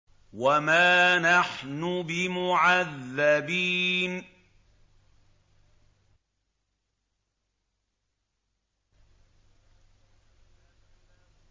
وَمَا نَحْنُ بِمُعَذَّبِينَ